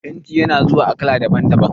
Fenti na zuwa a kala daban-daban.